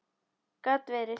Gat verið!